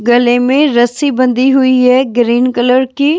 गले में रस्सी बंधी हुई है ग्रीन कलर की।